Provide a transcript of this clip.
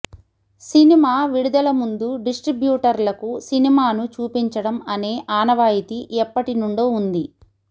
cinema విడుదల ముందు డిస్ట్రిబ్యూటర్లకు సినిమాను చూపించడం అనే ఆనవాయితీ ఎప్పటి నుండో ఉంది